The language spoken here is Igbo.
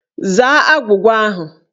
Zaa agwụgwa ahụ!